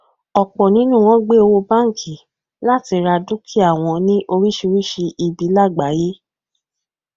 ọpọ nínú wọn gbé owó bánkì láti ra dúkìá wọn ní oríṣiríṣi ibi lágbàyé